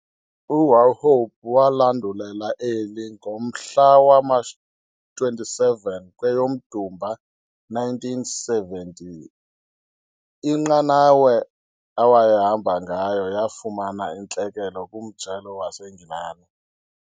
UWauchope walandulela eli ngomhla wama-27 kweyoMdumba ngowe-1917, inqanawe awayehamba ngayo yafumana intlekele kuMjelo waseNgilani.